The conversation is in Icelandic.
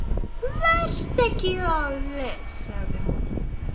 Vertu ekki of viss, segir hún.